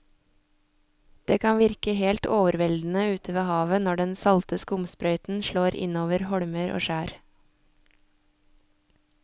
Det kan virke helt overveldende ute ved havet når den salte skumsprøyten slår innover holmer og skjær.